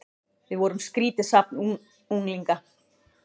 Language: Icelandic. Við vorum skrýtið safn unglinga.